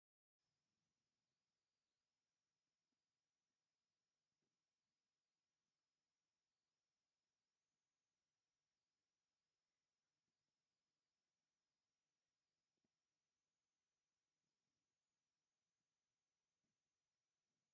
ኣብዚ እቶም ፍሉጣት ሓወልትታት ዓበይቲ ዓዲ ኣኽሱም ኣብ ብርሃን መዓልቲ ኮፍ ኢሎም ይረኣዩ። እቶም ነዋሕቲ ደው ዝበሉ ሓወልትታትን ዝወደቑ ኣእማንን ኣብ ሓደ ቦታ ኮፍ ኢሎም፡ መሳጢ ታሪኻዊ ደስታ ይሕዙ።